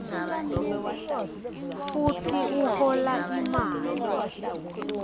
futsi uhola imali